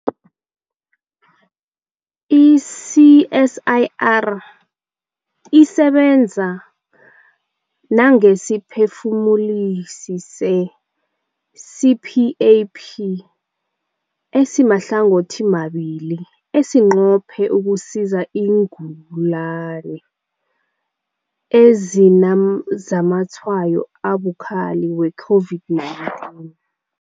I-CSIR isebenza nangesiphefumulisi se-CPAP esimahlangothimabili esinqophe ukusiza iingulani ezinazamatshwayo abukhali we-COVID-19.